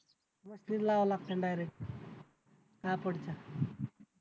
machine लावाव्या लागतील direct कापडच्या